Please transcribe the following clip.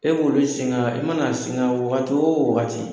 E b'o de singa i mana singa wagati wo wagati